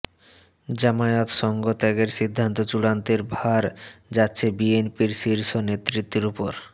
জামায়াতসঙ্গ ত্যাগের সিদ্ধান্ত চূড়ান্তের ভার যাচ্ছে বিএনপির শীর্ষ নেতৃত্বের ওপর